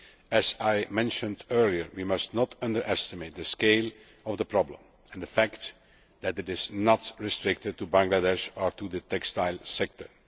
As I mentioned earlier, we must not underestimate the scale of the problem and the fact that it is not restricted to Bangladesh or to the textile sector.